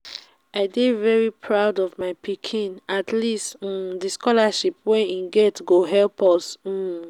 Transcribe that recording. i dey very proud of my pikin. at least um the scholarship wey he get go help us um